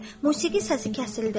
Musiqi səsi kəsildi.